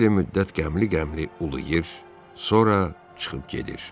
Xeyli müddət qəmli-qəmli uluyur, sonra çıxıb gedir.